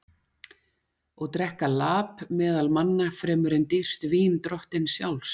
Og drekka lap meðal manna fremur en dýrt vín drottins sjálfs?